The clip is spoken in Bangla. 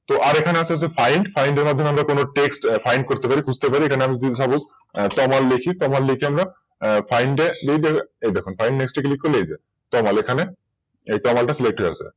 তো আর এখানে আর আছে হচ্ছে Find এর মাধ্যমে তোমরা TextFind করতে পারি বুঝতে পারি সেখানে আমি Suppose তমাল লিখি আমরা Find এ এই দেখুন Find করলে এই যে তমাল এখানে এই Text টা Select হয়ে আছে।